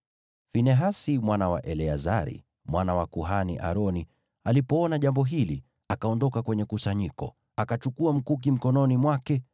Finehasi mwana wa Eleazari, mwana wa kuhani Aroni, alipoona jambo hili, akaondoka kwenye kusanyiko, akachukua mkuki mkononi mwake,